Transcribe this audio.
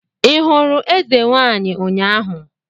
Ị hụrụ eze nwaanyi ụnyaahụ?